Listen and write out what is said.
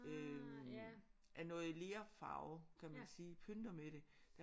Øh af noget lerfarve kan man sige pynter med det